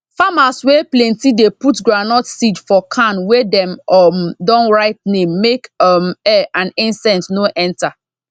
farmers wey plenty dey put groundnut seed for can wey dem um don write name make um air and insect no enter